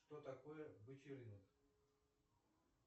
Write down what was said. что такое бычий рынок